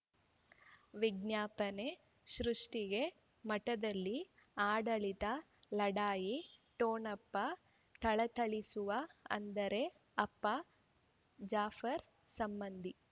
ವಿಜ್ಞಾಪನೆ ಸೃಷ್ಟಿಗೆ ಮಠದಲ್ಲಿ ಆಡಳಿತ ಲಢಾಯಿ ಠೊಣಪ ಥಳಥಳಿಸುವ ಅಂದರೆ ಅಪ್ಪ ಜಾಫರ್ ಸಂಬಂಧಿ